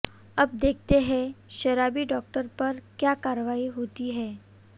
अब देखते हैं शराबी डॉक्टर पर क्या कार्रवाई होती है